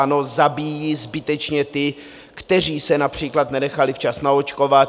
Ano, zabíjí zbytečně ty, kteří se například nenechali včas naočkovat.